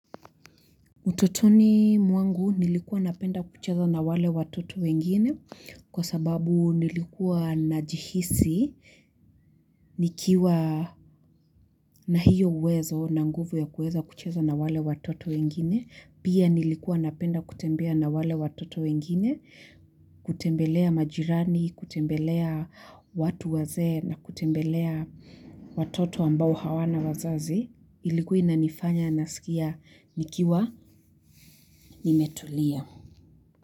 Utotoni mwangu nilikuwa napenda kucheza na wale watoto wengine kwa sababu nilikuwa najihisi nikiwa na hiyo uwezo na nguvu ya kuweza kucheza na wale watoto wengine. Pia nilikuwa napenda kutembea na wale watoto wengine kutembelea majirani, kutembelea watu wazee na kutembelea watoto ambao hawana wazazi. Ilikuwa ina nifanya nasikia nikiwa nimetulia.